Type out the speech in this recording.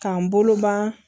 K'an bolo ban